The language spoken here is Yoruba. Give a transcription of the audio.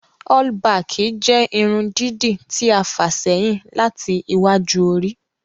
All-baaki jẹ́ ìrun dìídí ti a fa sẹhin lati ìwạju orì.